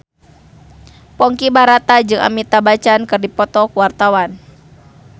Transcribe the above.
Ponky Brata jeung Amitabh Bachchan keur dipoto ku wartawan